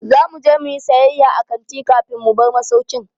Za mu je mu yi sayayya a kanti kafin mu bar masaukin.